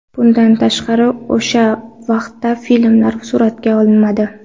Bundan tashqari o‘sha vaqtda filmlar suratga olinmadi.